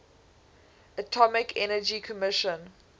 atomic energy commission